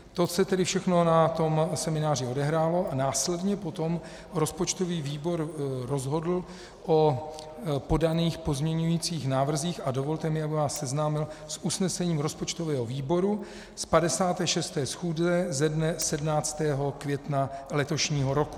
To se tedy všechno na tom semináři odehrálo a následně potom rozpočtový výbor rozhodl o podaných pozměňovacích návrzích a dovolte mi, abych vás seznámil s usnesením rozpočtového výboru z 56. schůze ze dne 17. května letošního roku: